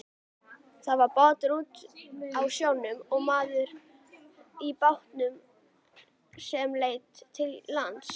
Það var bátur úti á sjónum og maður í bátnum sem leit til lands.